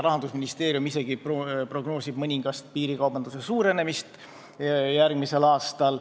Rahandusministeerium isegi prognoosib mõningast piirikaubanduse suurenemist järgmisel aastal.